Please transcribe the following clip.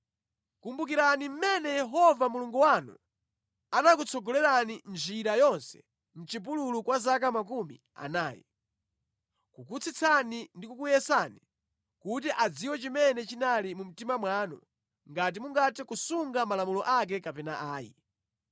Kumbukirani mmene Yehova Mulungu wanu anakutsogolerani njira yonse mʼchipululu kwa zaka makumi anayi, kukutsitsani ndi kukuyesani kuti adziwe chimene chinali mu mtima mwanu ngati mungathe kusunga malamulo ake kapena ayi.